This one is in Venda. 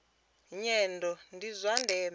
nyendo ndi zwa ndeme kha